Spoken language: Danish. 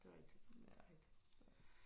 Det er rigtig det er rigtigt